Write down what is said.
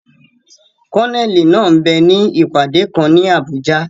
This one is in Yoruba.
Kólóníẹ̀ náà m bẹ ní ìpàdé kan ní Abùjá